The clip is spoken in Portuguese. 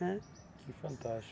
Né? Que fantástico.